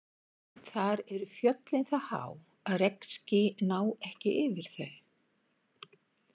Þar eru fjöllin það há að regnský ná ekki yfir þau.